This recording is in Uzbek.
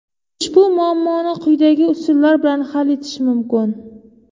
Ushbu muammoni quyidagi usullar bilan hal etish mumkin.